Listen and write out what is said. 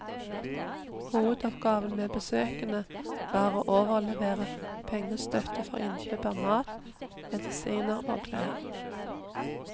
Hovedoppgaven med besøkene var å overlevere pengestøtte for innkjøp av mat, medisiner og klær.